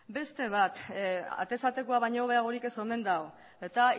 beste bat atez atekoa baino hobeagorik ez omen dago eta